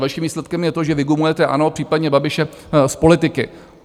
Vaším výsledkem je to, že vygumujete ANO, případně Babiše, z politiky.